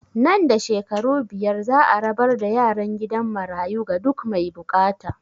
Nan da shekaru biyar za a rabar da yaran gidan marayu ga duk mai bukata